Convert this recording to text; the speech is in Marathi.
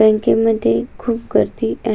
बँके मध्ये खुप गर्दी आहे.